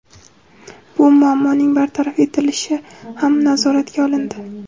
Bu muammoning bartaraf etilishi ham nazoratga olindi.